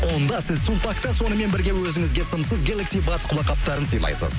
онда сіз сулпакта сонымен бірге өзіңізге сымсыз гелекси батс құлақ қаптарын сыйлайсыз